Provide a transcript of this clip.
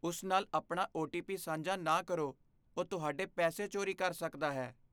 ਉਸ ਨਾਲ ਆਪਣਾ ਓ. ਟੀ. ਪੀ. ਸਾਂਝਾ ਨਾ ਕਰੋ। ਉਹ ਤੁਹਾਡੇ ਪੈਸੇ ਚੋਰੀ ਕਰ ਸਕਦਾ ਹੈ।